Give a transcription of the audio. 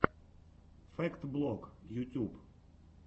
фэкт блог ютюб